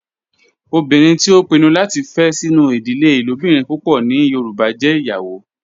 Obinrin ti o pinnu lati fe sinu idile ilobirin pupọ ni yoruba jẹ iyawo